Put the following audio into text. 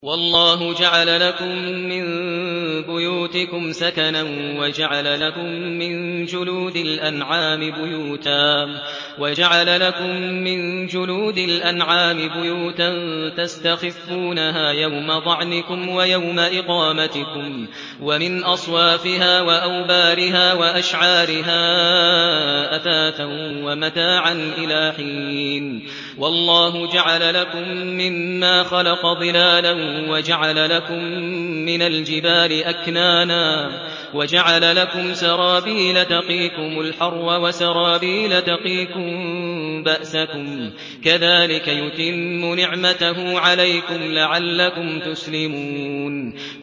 وَاللَّهُ جَعَلَ لَكُم مِّن بُيُوتِكُمْ سَكَنًا وَجَعَلَ لَكُم مِّن جُلُودِ الْأَنْعَامِ بُيُوتًا تَسْتَخِفُّونَهَا يَوْمَ ظَعْنِكُمْ وَيَوْمَ إِقَامَتِكُمْ ۙ وَمِنْ أَصْوَافِهَا وَأَوْبَارِهَا وَأَشْعَارِهَا أَثَاثًا وَمَتَاعًا إِلَىٰ حِينٍ